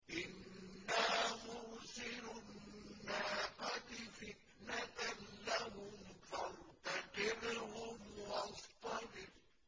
إِنَّا مُرْسِلُو النَّاقَةِ فِتْنَةً لَّهُمْ فَارْتَقِبْهُمْ وَاصْطَبِرْ